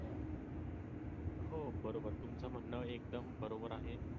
हो बरोबर तुमच म्हणण एकदम बरोबर आहे.